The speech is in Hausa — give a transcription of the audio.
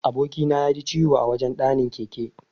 Aboki na yaji ciwo a wajan ɗanin keke.